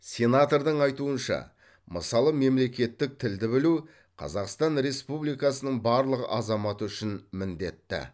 сенатордың айтуынша мысалы мемлекеттік тілді білу қазақстан республикасының барлық азаматы үшін міндетті